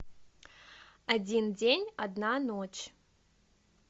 один день одна ночь